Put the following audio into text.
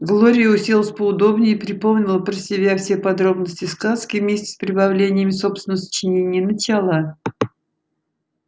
глория уселась поудобнее припомнила про себя все подробности сказки вместе с прибавлениями собственного сочинения и начала